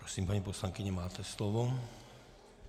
Prosím, paní poslankyně, máte slovo.